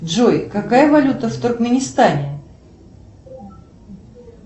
джой какая валюта в туркменистане